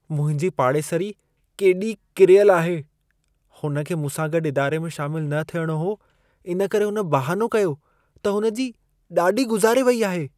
मुंहिंजी पाड़ेसरी केॾी किरियल आहे! हुन खे मूंसां गॾु इदारे में शामिल न थियणो हो इन करे हुन बहानो कयो त हुन जी ॾाॾी गुज़ारे वई आहे।